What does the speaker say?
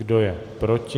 Kdo je proti?